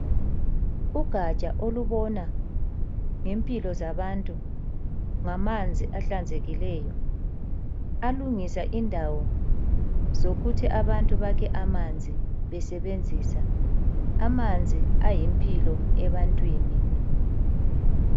Ugaja olubona ngempilo zabantu ngamanzi ahlanzekileyo alungisa indawo zokuthi abantu bakhe amanzi besebenzisa amanzi ayimpilo ebantwini